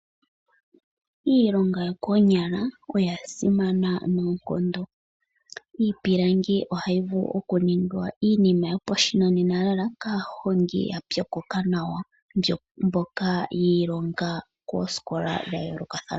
Iilonga yokoonyala oya simana noonkondo. Iipilangi ohayi vulu okuninga iinima yopashinanena lela kaahongi ya pyokoka nawa mboka yi ilonga koosikola dha yoolokathana.